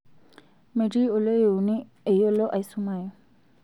metii oloiuni eyiolo asumayu